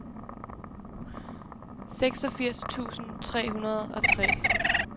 seksogfirs tusind tre hundrede og tre